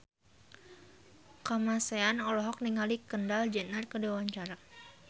Kamasean olohok ningali Kendall Jenner keur diwawancara